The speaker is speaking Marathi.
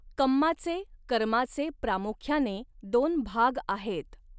कम्माचे कर्माचे प्रामुख्याने दोन भाग आहेत.